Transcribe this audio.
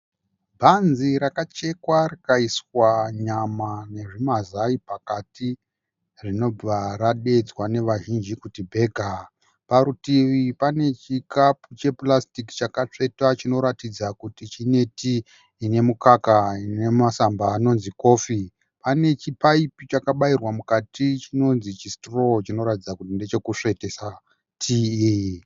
Bhanzi rakachekwa rikaiswa nyama nezvimazai pakati rinobva radeedzwa nevazhinji kuti bhega. Parutivi pane chikapu chepurasitiki chakatsvetwa chinoratidza kuti chine tii ine mukaka nemasamba anonzi kofi. Pane chipaipi chakabairirwa mukati chinonzi chisitiroo chinoratidza kuti ndechekusvetesa tii.